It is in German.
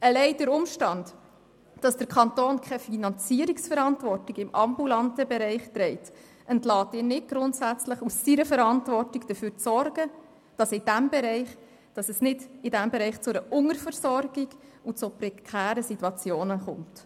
Allein der Umstand, dass der Kanton keine Finanzierungsverantwortung im ambulanten Bereich trägt, entlässt ihn nicht grundsätzlich aus seiner Verantwortung dafür zu sorgen, dass es in diesem Bereich nicht zu einer Unterversorgung und zu prekären Situationen kommt.